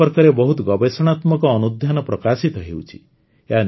ଏ ସମ୍ପର୍କରେ ବହୁତ ଗବେଷଣାତ୍ମକ ଅନୁଧ୍ୟାନ ପ୍ରକାଶିତ ହେଉଛି